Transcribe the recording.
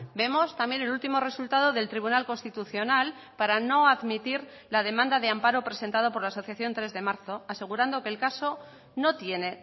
vemos también el último resultado del tribunal constitucional para no admitir la demanda de amparo presentado por la asociación tres de marzo asegurando que el caso no tiene